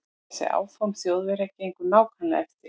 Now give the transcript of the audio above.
Þessi áform Þjóðverja gengu nákvæmlega eftir.